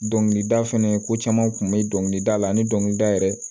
Dɔnkilida fɛnɛ ko caman kun be dɔnkilidala ani dɔnkilida yɛrɛ